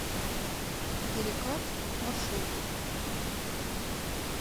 перекат маршрут